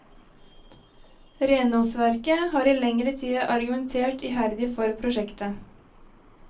Renholdsverket har i lengre tid argumentert iherdig for prosjektet.